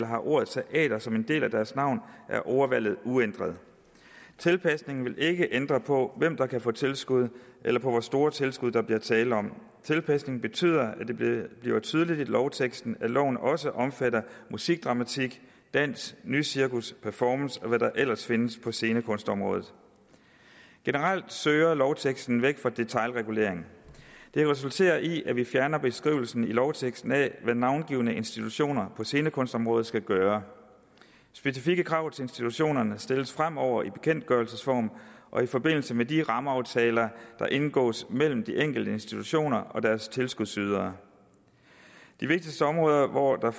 har ordet teater som en del af deres navn er ordvalget uændret tilpasningen vil ikke ændre på hvem der kan få tilskud eller på hvor store tilskud der bliver tale om tilpasningen betyder at det bliver tydeligt i lovteksten at loven også omfatter musikdramatik dans nycirkus performance og hvad der ellers findes på scenekunstområdet generelt søger lovteksten væk fra detailregulering det resulterer i at vi fjerner beskrivelsen i lovteksten af hvad navngivne institutioner på scenekunstområdet skal gøre specifikke krav til institutionerne stilles fremover i bekendtgørelsesform og i forbindelse med de rammeaftaler der indgås mellem de enkelte institutioner og deres tilskudsydere de vigtigste områder hvor der